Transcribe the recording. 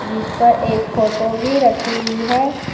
जिस पर एक फोटो भी रखी हुई है।